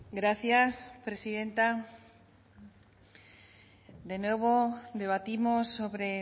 gracias presidenta de nuevo debatimos sobre